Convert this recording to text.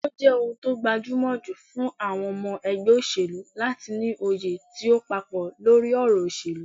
Ó jẹ́ ohun tó gbajúmọ̀ jù fún àwọn ọmọ ẹgbẹ́ òṣèlú láti ní òye tó papọ̀ lórí ọ̀rọ̀ òṣèlú